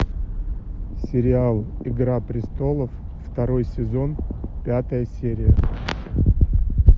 сериал игра престолов второй сезон пятая серия